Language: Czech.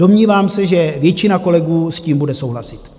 Domnívám se, že většina kolegů s tím bude souhlasit.